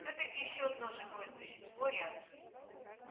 всё-таки ещё одно живое существо рядом